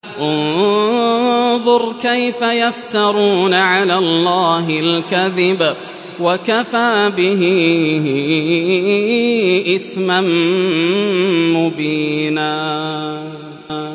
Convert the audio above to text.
انظُرْ كَيْفَ يَفْتَرُونَ عَلَى اللَّهِ الْكَذِبَ ۖ وَكَفَىٰ بِهِ إِثْمًا مُّبِينًا